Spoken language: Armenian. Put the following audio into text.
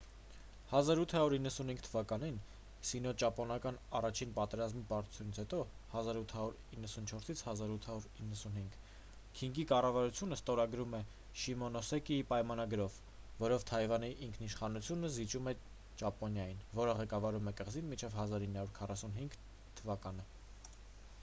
1895 թվականին սինոճապոնական առաջին պատերազմի պարտությունից հետո 1894-1895 քինգի կառավարությունը ստորագրում է շիմոնոսեկիի պայմանագիրը որով թայվանի ինքնիշխանությունը զիջում է ճապոնիային որը ղեկավարում է կղզին մինչև 1945 թվականը: